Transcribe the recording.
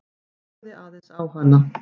Horfði aðeins á hana.